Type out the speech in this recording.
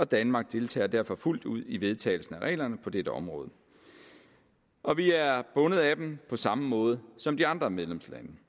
danmark deltager derfor fuldt ud i vedtagelsen af reglerne på dette område og vi er bundet af dem på samme måde som de andre medlemslande